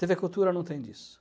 tê vê Cultura não tem disso.